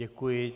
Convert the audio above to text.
Děkuji.